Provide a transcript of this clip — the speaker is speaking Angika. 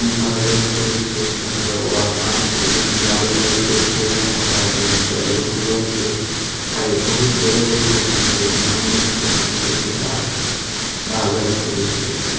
यह भागलपुर स्टेशन गाड़ी लागले छे यहाँ पर आदमी सब रुक लो छे है बहुत बड़ा स्टेशन से नवनी स्टेशन छे बिहार भागलपुर स्टेशन --